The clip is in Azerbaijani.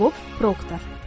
Bob Proktor.